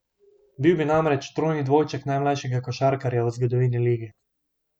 Bil bi namreč trojni dvojček najmlajšega košarkarja v zgodovini lige.